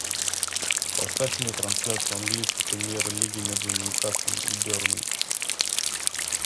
поставь мне трансляцию английской премьер лиги между ньюкаслом и бернли